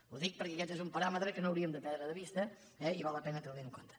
ho dic perquè aquest és un paràmetre que no hauríem de perdre de vista i val la pena tenir lo en compte